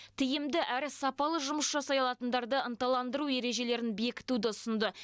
тиімді әрі сапалы жұмыс жасай алатындарды ынталандыру ережелерін бекітуді ұсынды